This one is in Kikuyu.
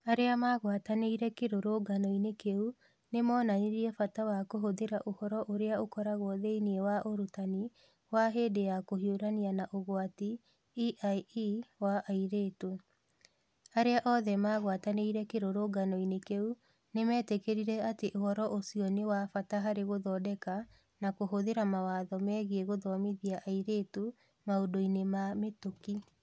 Arĩa magwatanĩire kĩrũrũngano-inĩ kĩu nĩ moonanirie bata wa kũhũthĩra ũhoro ũrĩa ũkoragwo thĩinĩ wa Ũrutani wa hĩndĩ ya kũhiũrania na ũgwati (EiE) wa airĩtu. Arĩa othe magwatanĩire kĩrũrũngano-inĩ kĩu nĩ meetĩkĩrire atĩ ũhoro ũcio nĩ wa bata harĩ gũthondeka na kũhũthĩra mawatho megiĩ gũthomithia airĩtu maũndũ-inĩ ma mĩtũkĩ.